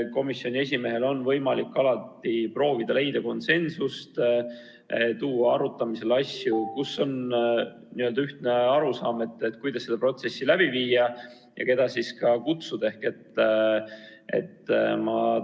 Komisjoni esimehel on võimalik alati proovida leida konsensust, tuua arutamisele asju, mille puhul on ühine arusaam, kuidas protsessi läbi viia ja keda siis ka kohale kutsuda.